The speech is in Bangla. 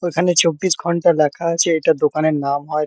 ওইখানে চব্বিশ ঘন্টা লেখা আছে এটা দোকানের নাম হয়তো--